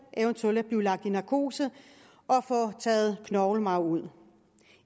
eventuelt at blive lagt i narkose og få taget knoglemarv ud